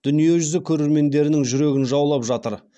дүниежүзі көрермендерінің жүрегін жаулап жатыр